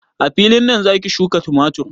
A filin nan zaki shuƙa tumatur?